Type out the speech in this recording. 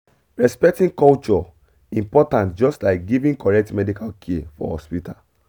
respecting culture important just like giving correct medical care for hospital